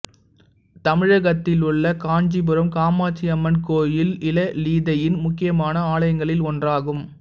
தமிழகத்திலுள்ள காஞ்சிபுரம் காமாட்சியம்மன் கோயில் இலலிதையின் முக்கியமான ஆலயங்களில் ஒன்றாகும்